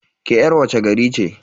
Ke yar wace gari ce?